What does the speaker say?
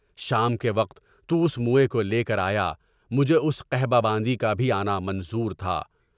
شام کے وقت تو اس موئے کولے کر آیا، مجھے اس قحبہ باندی کا بھی آنا منظور تھا۔